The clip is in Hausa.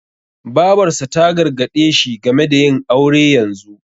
Babarsa ta gargaɗe shi game da yin aure yanzu.